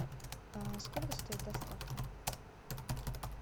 а сколько стоит доставка